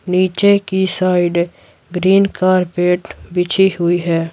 नीचे की side green carpet बिछी हुई है।